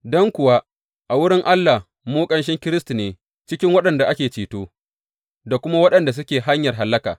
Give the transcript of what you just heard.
Don kuwa, a wurin Allah mu ƙanshin Kiristi ne cikin waɗanda ake ceto, da kuma waɗanda suke hanyar hallaka.